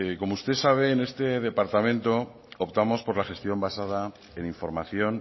como usted sabe en este departamento optamos por la gestión basada en información